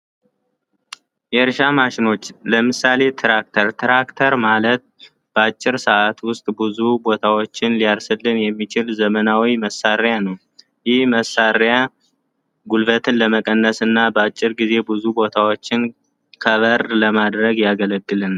የእርሻ ማሸኖች ለምሳሌ የትራክተር፡ ትራክተር ማለት በአጭር ሰዓት ውስጥ ብዙ ቦታዎችን ሊያርስልን የሚችል ዘመናዊ መሳሪያ ነው። ይህ መሣሪያ ጉልበት ለመቀነስና በአጭር ጊዜ ውስጥ ብዙ ቦታዎችን ከቨር ለማድረግ ያገለግላል።